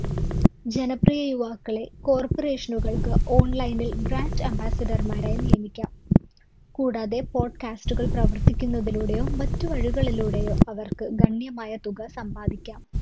ജനപ്രിയ യുവാക്കളെ corporation കള്‍ക്ക് online ല്‍ brand ambassador മാരായി നിയമിക്കാം. കൂടാതെ podcast കള്‍ പ്രവര്‍ത്തിക്കുന്നതിലൂടെയോ മറ്റു വഴികളിലൂടെയോ അവര്‍ക്ക് ഗണ്യമായ തുക സമ്പാദിക്കാം.